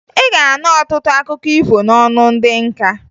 Ị ga-anụ ọtụtụ akụkọ ifo n'ọnụ ndị nka